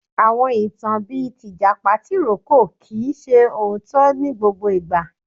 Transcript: Àwọn ìtàn bíi tìjàpá tìrókò kìí ṣe òótọ́ ní gbogbo ìgbà.